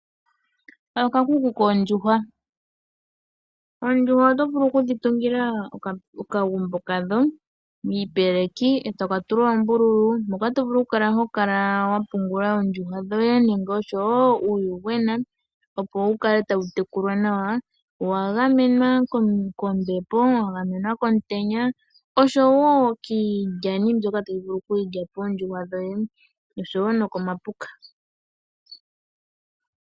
Okakuku kOondjuhwa, Oondjuhwa oto vulu okudhi tungila okagumbo kadho niipeleki eto ka tula oombululu. Moka to vulu oku kala ho kala wa pungula Oondjuhwa dhoye nenge osho wo uuyuhwena opo wu kale tawu tekulwa nawa. Owa gamenwa kombepo, wa gamenwa komutenya osho wo kiilyani mbyoka tayi vulu oku lyapo oondjuhwa dhoye osho wo no ko mapuka.